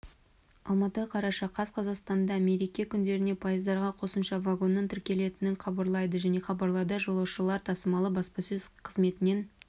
алматы қараша қаз қазақстандамереке күндерінде пойыздарға қосымша вагонның тіркелетінін хабарлайды деп хабарлады жолаушылар тасымалы баспасөз қызметінен